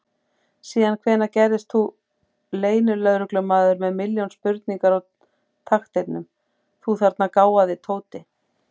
Síðan hvenær gerðist þú leynilögreglumaður með milljón spurningar á takteinum, þú þarna gáfaði Tóti!